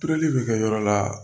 Ture bi kɛ yɔrɔ la